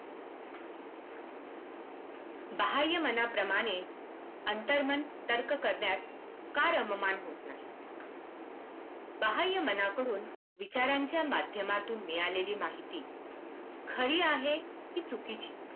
बाह्यमनाप्रमाणे अंतर्मन तर्क करण्यात का रममान होत नाही? बाह्ममनाकडून विचारांच्या माध्यमातून मिळालेली माहिती खरी आहे की चुकीची